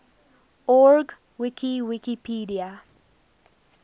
org wiki wikipedia